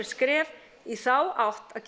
skref í þá átt að